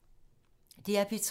DR P3